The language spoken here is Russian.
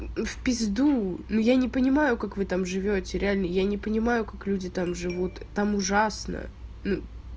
в пизду но я не понимаю как вы там живёте реально я не понимаю как люди там живут там ужасно ну